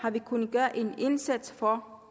kunnet gøre en indsats for